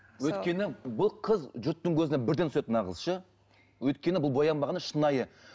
өйткені бұл қыз жұрттың көзіне бірден түседі мына қыз ше өйткені бұл боянбаған да шынайы